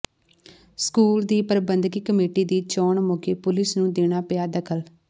school ਦੀ ਪ੍ਰਬੰਧਕੀ committee ਦੀ ਚੋਣ ਮੌਕੇ ਪੁਲਿਸ ਨੂੰ ਦੇਣਾ ਪਿਆ ਦਖ਼ਲ